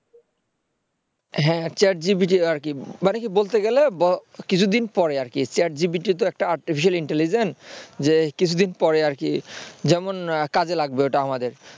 হ্যাঁ chat GPT আর কি মানে কি বলতে গেলে কিছুদিন পরে আর কি chat GPT তো আরেকটা artificial intelligence যে কিছুদিন পরে আর কি যেমন কাজে লাগবে ওটা আমাদের